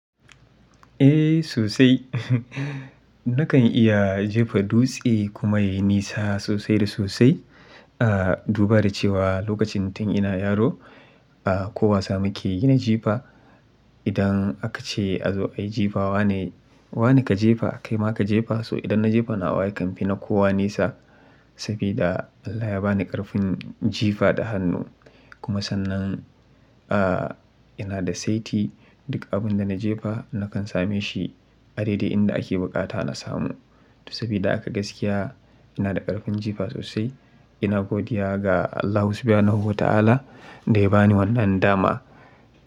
Eh sosai. Uhum Nakan iya jefa dutse kuma ya yi nisa sosai da sosai. Ah, duba da cewa lokacin tun ina yaro, ah, ko wasa muke yi na jefa, idan aka ce a zo a yi jefa wa ne, wa ne ka jefa, kai ma ka jefa. To idan na jefa na wa ya kamfi na kowa nisa sabida Allah ya ba ni ƙarfin jifa da hannu. Kuma sannan, ah, ina da saiti, duk abin da na jefa nakan same shi. A daidai inda ake bukata na samu. Sabida haka gaskiya ina da ƙarfin jifa sosai. Ina godiya ga Allahu subhanahu wa ta'ala da ya ba ni wannan dama.